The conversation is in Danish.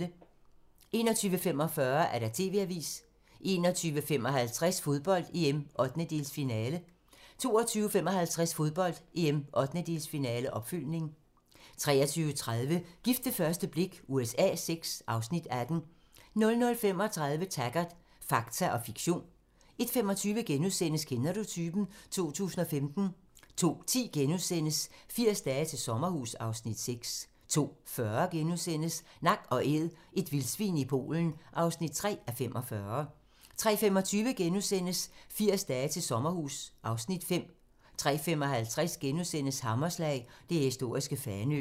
21:45: TV-avisen 21:55: Fodbold: EM - 1/8-finale 22:55: Fodbold: EM - 1/8-finale, opfølgning 23:30: Gift ved første blik USA VI (Afs. 18) 00:35: Taggart: Fakta og fiktion 01:25: Kender du typen? 2015 * 02:10: 80 dage til sommerhus (Afs. 6)* 02:40: Nak & Æd - et vildsvin i Polen (3:45)* 03:25: 80 dage til sommerhus (Afs. 5)* 03:55: Hammerslag - det historiske Fanø *